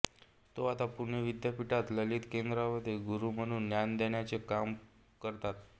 ते आता पुणे विद्यापीठाच्या ललित कलाकेंद्रामध्ये गुरू म्हणून ज्ञानदानाचे काम करतात